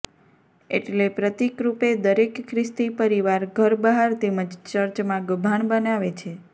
એટલે પ્રતિકરૂપે દરેક ખ્રિસ્તી પરિવાર ઘર બહાર તેમજ ચર્ચમાં ગભાણ બનાવે છે